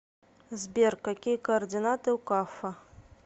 сбер какие координаты у каффа